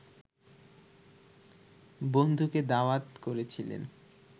বন্ধুকে দাওয়াত করেছিলেন